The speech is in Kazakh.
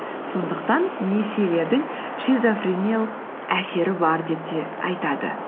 сондықтан несиелердің шизофрениялық әсері бар деп те айтады